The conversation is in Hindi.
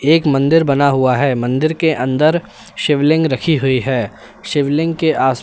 एक मंदिर बना हुआ है मंदिर के अंदर शिवलिंग रखी हुई है शिवलिंग के आस--